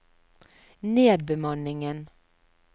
nedbemanningen